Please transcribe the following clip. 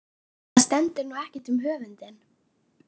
Það stendur nú ekkert um höfundinn.